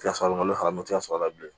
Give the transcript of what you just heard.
Kilasi sɔrɔ n'o farama tɛ sɔr'a la bilen